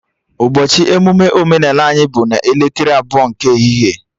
Ụbọchị emụme omenala anyị bụ n'elekere abụọ nke ehihie